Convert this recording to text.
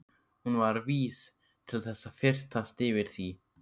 Hún var vís til þess að fyrtast yfir því.